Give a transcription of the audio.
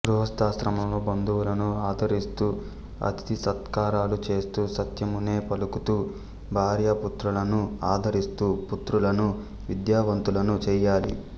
గృహస్థాశ్రమంలో బంధువులను ఆదరిస్తూ అతిథిసత్కారాలు చేస్తూ సత్యమునే పలుకుతూ భార్యాపుత్రులను ఆదరిస్తూ పుత్రులను విద్యావంతులను చేయాలి